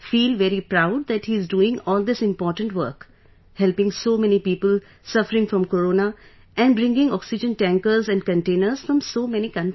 Feel very proud that he is doing all this important work, helping so many people suffering from corona and bringing oxygen tankers and containers from so many countries